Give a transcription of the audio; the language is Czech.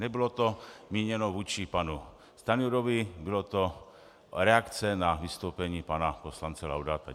Nebylo to míněno vůči panu Stanjurovi, byla to reakce na vystoupení pana poslance Laudáta.